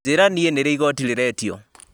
njĩra niĩ nĩ rĩ igooti rĩretio